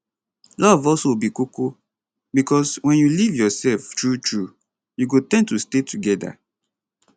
love also be koko bicos wen you live yourself truetrue you go ten d to stay togeda